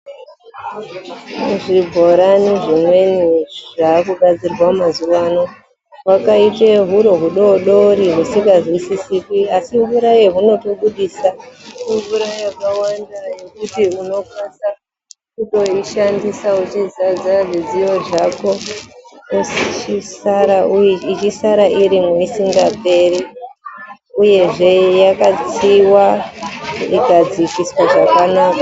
Zvibhorani zvimweni zvaakugadzirwa mazuwa ano hwakaite huro hudodori husikazwisisiki asi mvura yahunotobudisa imvura yakawanda yekuti unokasa kutoishandisa wechizadza zvidziyo zvako ichisara irimwo isingaperi uyezve yakatsiwa ikadzikiswa zvakanaka.